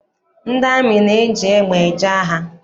Ndị amị na-eji egbe eje agha.